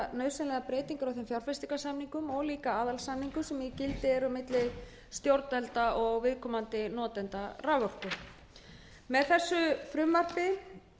á þessum fjárfestingarsamningum og líka aðalsamningum sem í gildi eru milli stjórnvalda og viðkomandi notenda raforku með þessu frumvarpi